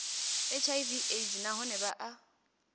hiv aids nahone vha a